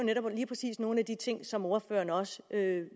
nogle af de ting som ordføreren også